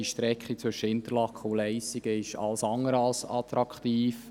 Die Strecke zwischen Interlaken und Leissigen ist alles andere als attraktiv.